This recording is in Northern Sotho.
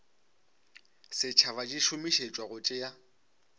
setšhaba di šomišetšwa go tšea